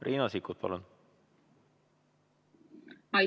Riina Sikkut, palun!